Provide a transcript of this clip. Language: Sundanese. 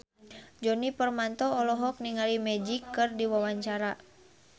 Djoni Permato olohok ningali Magic keur diwawancara